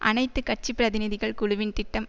அனைத்து கட்சி பிரதிநிதிகள் குழுவின் திட்டம்